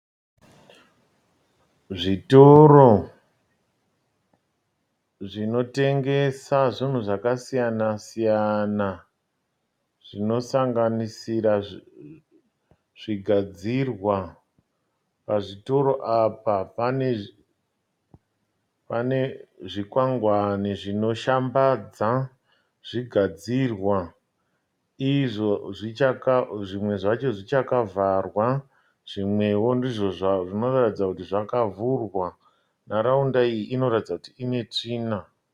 Zvitoro zvinotengesa zvinhu zvakasiyana siyana, zvinosanganisira zvigadzirwa. Pazvitoro apa pane zvikwangwani zvinoshamba zvigadzirwa. Izvo zvimwe zvacho zvichakavharwa zvimwewo ndizvo zvinoratidza kuti zvakavhurwa . Nharaunda iyi inoratidza kuti ine tsvina.